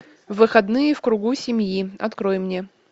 выходные в кругу семьи открой мне